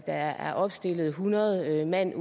der er opstillet hundrede mand